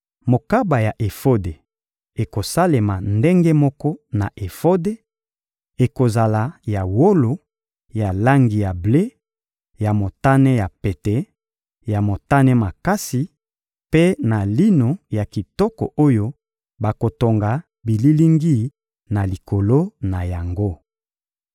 Mokaba ya efode ekosalema ndenge moko na efode: ekozala ya wolo, ya langi ya ble, ya motane ya pete, ya motane makasi mpe na lino ya kitoko oyo bakotonga bililingi na likolo na yango.